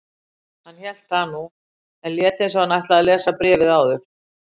Hann hélt það nú, en lét eins og hann ætlaði að lesa bréfið áður.